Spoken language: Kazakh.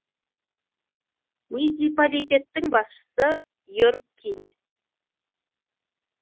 муниципалитеттің басшысы йерг кине